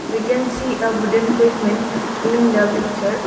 we can see a wooden payhment in the picture.